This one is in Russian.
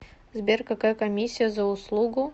сбер какая комиссия за услугу